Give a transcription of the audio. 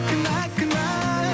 кінә кінә